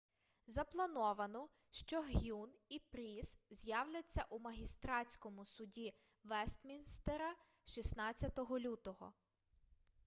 заплановано що г'юн і пріс з'являться у магістратському суді вестмінстера 16 лютого